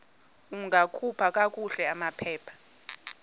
ungakhupha kakuhle amaphepha